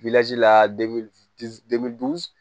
la